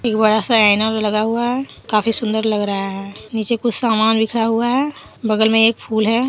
एक बड़ा सा आईना लगा हुआ है काफी सुंदर लग रहा है नीचे कुछ सामान बिखरा हुआ है बगल में एक फूल है।